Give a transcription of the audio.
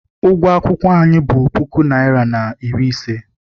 Ụgwọ akwụkwọ anyị bụ puku naịra na iri ise.